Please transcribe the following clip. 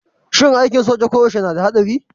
Shin aikin soja koyaushe yana da haɗari?